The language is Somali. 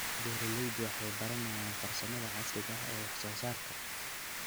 Beeraleydu waxay baranayaan farsamada casriga ah ee wax soo saarka.